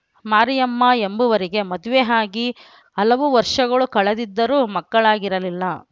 ಮಾರಿಯಮ್ಮ ಎಂಬುವರಿಗೆ ಮದುವೆ ಆಗಿ ಹಲವು ವರ್ಷಗಳು ಕಳೆದಿದ್ದರೂ ಮಕ್ಕಳಾಗಿರಲಿಲ್ಲ